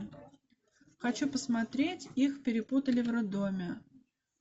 хочу посмотреть их перепутали в роддоме